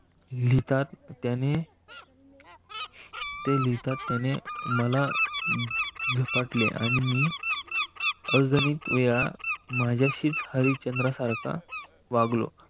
ते लिहितात. त्याने ते लिहितात त्याने मला झपाटले आणि मी अजूनही माझ्याशीच हरिश्चंद्र सारखा वागलो वागलो.